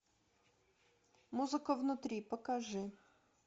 музыка внутри покажи